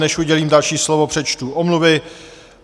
Než udělím další slovo, přečtu omluvy.